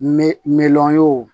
Me miliyɔn wo